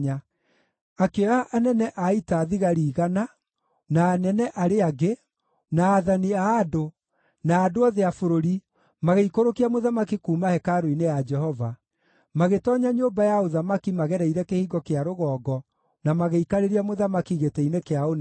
Akĩoya anene a ita thigari igana, na anene arĩa angĩ, na aathani a andũ, na andũ othe a bũrũri, magĩikũrũkia mũthamaki kuuma hekarũ-inĩ ya Jehova. Magĩtoonya nyũmba ya ũthamaki magereire Kĩhingo kĩa Rũgongo na magĩikarĩria mũthamaki gĩtĩ-inĩ kĩa ũnene,